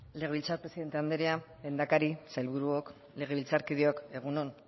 legebiltzar presidente andrea lehendakari sailburuok legebiltzarkideok egun on